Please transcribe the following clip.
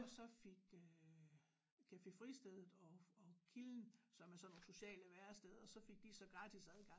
Og så fik øh Café Fristed og og Kilden som er sådan nogle sociale væresteder så fik de så gratis adgang